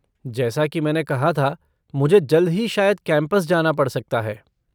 जैसा कि मैंने कहा था, मुझे जल्द ही शायद कैम्पस जाना पड़ सकता है।